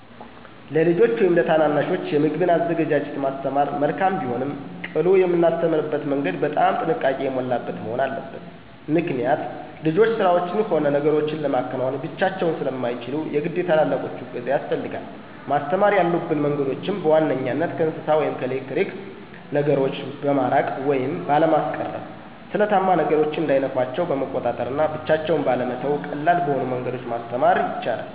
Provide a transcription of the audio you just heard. ለልጆች ወይም ለታናናሾች የምግብን አዘገጃጀት ማስተማር መልካም ቢሆንም ቅሉ የምናስተምርበትም መንገድ በጣም ጥንቃቄ የሞላበት መሆን አለበት። ምክኒያት ልጆች ስራዎችን ሆነ ነገሮችን ለማከናወን ብቻቸውን ስለማይችሉ የግድ የትላላቆቹ እገዛ ያስፈልጋል። ማስተማር ያሉብን መንገዶችም፦ በዋንኛነት ከእሳት ወይም ከኤሌክትሪክ ነገሮ በማራቅ ወይም ባለማስቀረብ፣ ስለታማ ነገሮች እንዳይነኳቸው በመቆጣጠር እና ብቻቸውን ባለመተው ቀላል በሆኑ መንገዶች ማስተማር ይቻላል።